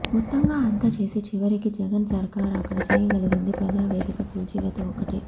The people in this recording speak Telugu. మొత్తంగా అంతా చేసి చివరికి జగన్ సర్కార్ అక్కడ చేయగలిగింది ప్రజావేదిక కూల్చివేత ఒక్కటే